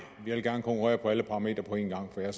jeg vil gerne konkurrere på alle parametre på en gang for jeg